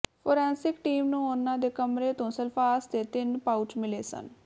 forensic team ਨੂੰ ਉਨ੍ਹਾਂ ਦੇ ਕਮਰੇ ਤੋਂ ਸਲਫਾਸ ਦੇ ਤਿੰਨ ਪਾਉਚ ਮਿਲੇ ਸਨ